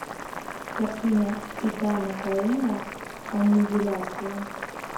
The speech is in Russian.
картина иттана коэна аннигиляция